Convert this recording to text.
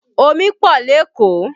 Omi pọ̀ lékòó